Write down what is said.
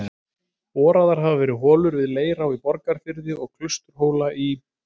Boraðar hafa verið holur við Leirá í Borgarfirði og Klausturhóla í